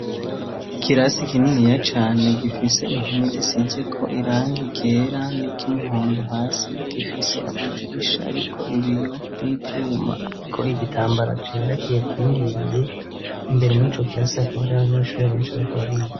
Ikirasi ikininiya cane gifise impomi zisize ko iranga igera n'ikimuhondu hasi gifise amadirisha, ariko ibiyo n'ivyuma, ariko igitambara cera kiyakindiriye imbere muri co kirasi akabari y'abanyeshurira benshi bakabriya.